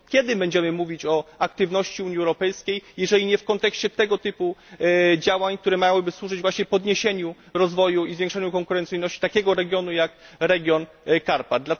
KKiedy będziemy mówić o aktywności Unii Europejskiej, jeżeli nie w kontekście tego typu działań, które miałyby służyć przyspieszeniu rozwoju i zwiększeniu konkurencyjności takiego regionu jak Karpaty?